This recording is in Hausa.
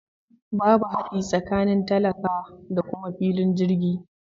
Babu hadi tsakanin talaka da kuma filin jirgi.